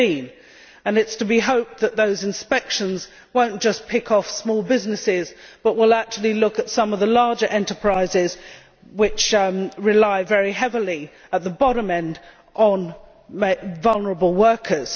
15. It is to be hoped that those inspections will not just pick off small businesses but will actually look at some of the larger enterprises that rely very heavily, at the bottom end, on vulnerable workers.